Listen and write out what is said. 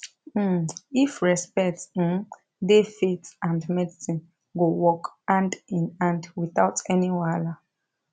um if respect um dey faith and medicine go work hand in hand without any wahala